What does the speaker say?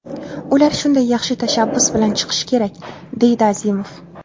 Ular shunday yaxshi tashabbus bilan chiqishi kerak”, deydi Azimov.